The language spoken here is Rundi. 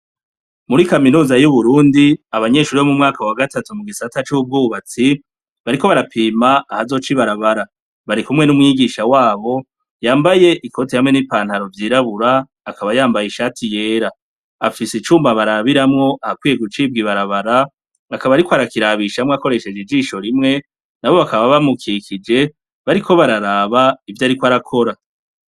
Muri kaminuza yuburundi abanyeshure wo mumwaka wa gatatu mugisata cubwubatsi bariko barapima ahazoca ibarabara barikumwe numwigisha wabo yambaye ikoti hamwe nipantalo vyirabura akaba yambaye ishati yera afise icuma barabiramwo ahakwiye gucibwa ibarabara akaba ariko akirabishamwo akoresheje ijisho rimwe nabo bakaba bamukikije bariko bararaba ivyo ariko arakora